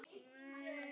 Hverjar sem hvatir